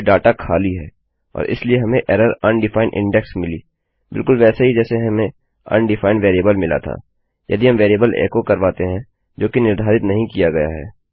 इसलिए डाटा खाली है और इसलिए हमें एररUndefined इंडेक्स मिली बिलकुल वैसे ही जैसे हमें अनडिफाइंड वेरिएबल मिला था यदि हम वेरिएबल एको करवाते हैं जोकि निर्धारित नहीं किया गया है